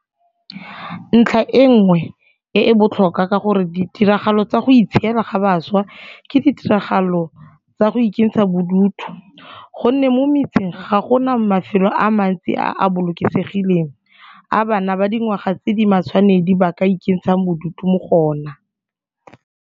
Ntlha e nngwe e e botlhokwa ke gore ditiragalo tsa go itshiela ga bašwa ke ditiragalo tsa go ikentsha bodutu go nne mo metseng ga go na mafelo a mantsi a a bolokesegileng a bana ba dingwaga tse di matshwanedi ba ka ikentshang bodutu mo go ona.